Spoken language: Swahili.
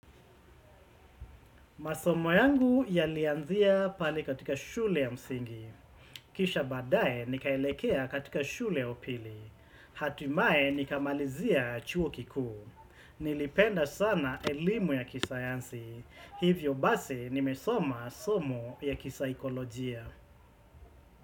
Masomo yangu yalianzia pale katika shule ya msingi. Kisha bbadae nikaelekea katika shule ya upili. Hatimaye nikamalizia chuo kikuu. Nilipenda sana elimu ya kisayansi. Hivyo basi nimesoma somo ya kisaikolojia.